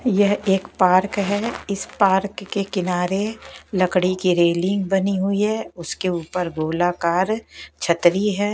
यह एक पार्क है इस पार्क के किनारे लकड़ी की रेलिंग बनी हुई है उसके ऊपर गोलाकार छतरी है।